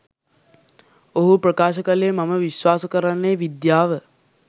ඔහු ප්‍රකාශ කලේ මම විශ්වාස කරන්නේ විද්‍යාව.